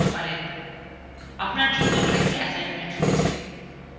আপনার জন্য একটি ছোট কাজ রয়েছে